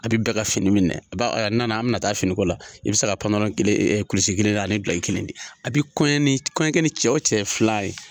A bɛ bɛɛ ka fini minɛ ba nana an bɛna taa finiko la i bɛ se ka panpanyrɔn kelen kulisi kelen ani bila i kelen de a bɛ kɔɲɔ ni kɔɲɔkɛ ni cɛ o cɛ fila ye